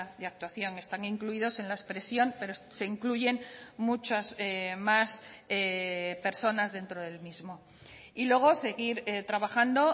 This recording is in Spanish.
de actuación están incluidos en la expresión pero se incluyen muchas más personas dentro del mismo y luego seguir trabajando